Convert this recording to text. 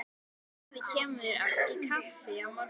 Afi kemur í kaffi á morgun.